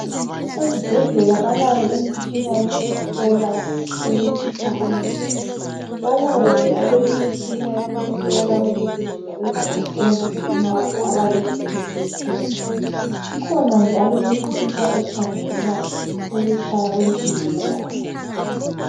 Ezibhedlela balayo imitshina yokuhlola ukutshisa kwemizimba balayo njalo imitshina yokuhlola ukugijima kwegazi emzimbeni wakho abayithi Yi BP kukhona njalo imitshina ekhangela ukutshaya kwenhliziyo yakho